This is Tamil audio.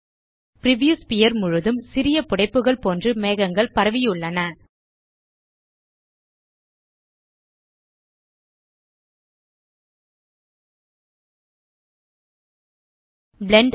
பிரிவ்யூ ஸ்பீர் முழுதும் சிறிய புடைப்புகள் போன்று மேகங்கள் பரவியுள்ளன பிளெண்ட்